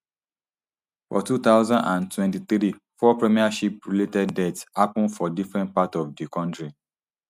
for two thousand and twenty-three four premiership related deaths happun for different parts of di kontri